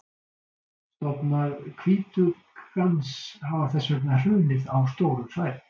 Stofnar hvítuggans hafa þess vegna hrunið á stórum svæðum.